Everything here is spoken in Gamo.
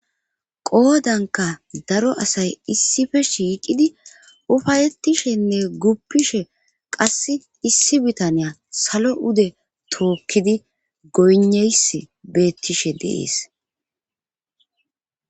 qoodanka daro asay issife shiiqidi ufayettishenne guppishe qass issi bitaniya salo ude tookkidi goyneys beettishe deees